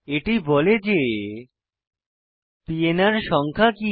এটি বলে যে পিএনআর সংখ্যা কি